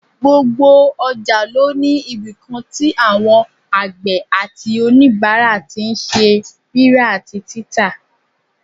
Gbogbo ọjà ló ní ibìkan tí àwọn àgbẹ̀ àti òníbàárà tí n ṣe rírà àti títà